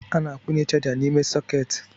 A na-akwunye chaja n’ime sọketi